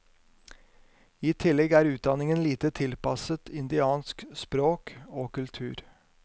I tillegg er utdanningen lite tilpasset indiansk språk og kultur.